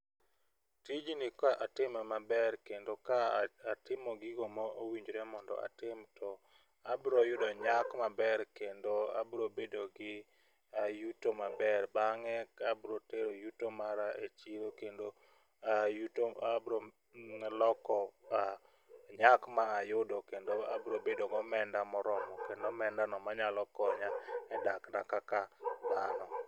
Tijni ka atime maber kendo ka a atimo gigo mowinjre mondo atim to abro yudo nyak maber kendo abro bedo gi yuto maber bang'e ka bro tero yuto mara e chiro kendo ayuto abro loko nyak mayudo kendo abro bedo gomenda moromo kendo omenda no manyalo konya e dak na kaka dhano.